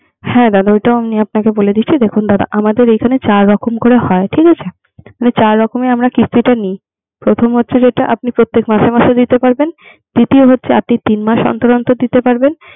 হ্যাঁ দাদা আমি আপনাকে বলে দিচ্ছি। দেখুন আমাদের এখানে চার রকমের করে হয় ঠিক আছে। চার রকমের আমরা কিস্তিটা নি। প্রথম হচ্ছে যেটো প্রত্যেক মাসে মাসে দিতে পারবেন। দ্বিতীয় হচ্ছে তিন মাস অন্তর অন্তর দিতে পারবেন।